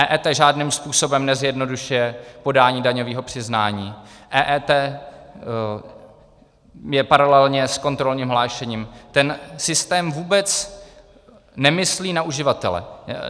EET žádným způsobem nezjednodušuje podání daňového přiznání, EET je paralelně s kontrolním hlášením, ten systém vůbec nemyslí na uživatele.